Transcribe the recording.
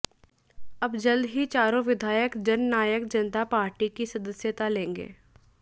अब जल्द ही चारों विधायक जननायक जनता पार्टी की सदस्यता लेंगे